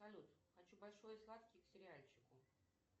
салют хочу большой и сладкий к сериальчику